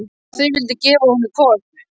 Bara að þau vildu gefa honum hvolp.